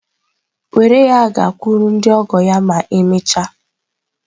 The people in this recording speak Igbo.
Were ya gakwuru ndị ọgọ ya ma emechaa.